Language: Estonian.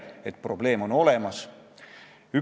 Lavastajaks õppinuna ütlen ma selle kohta: ei usu.